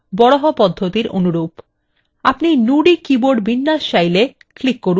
আপনি nudi keyboard বিন্যাস চাইলে click করুন kannadakn kgp